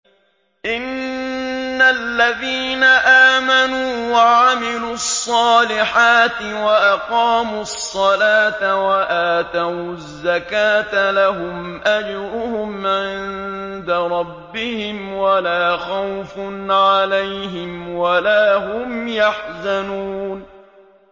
إِنَّ الَّذِينَ آمَنُوا وَعَمِلُوا الصَّالِحَاتِ وَأَقَامُوا الصَّلَاةَ وَآتَوُا الزَّكَاةَ لَهُمْ أَجْرُهُمْ عِندَ رَبِّهِمْ وَلَا خَوْفٌ عَلَيْهِمْ وَلَا هُمْ يَحْزَنُونَ